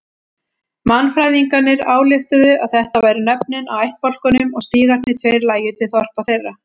Mannfræðingarnir ályktuðu að þetta væru nöfnin á ættbálkunum og stígarnir tveir lægju til þorpa þeirra.